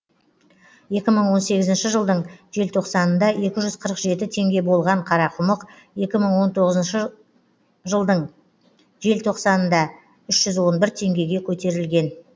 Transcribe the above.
екі мың он сегізінші жылдың желтоқсанында екі жүз қырық жеті теңге болған қарақұмық екі мың он тоғызыншы жылдың желтоқсанында үш жүз он бір теңгеге көтерілген